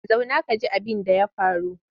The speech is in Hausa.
Zauna ka ji abinda ya faru!